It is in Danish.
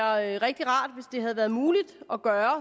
rigtig rart hvis det havde været muligt at gøre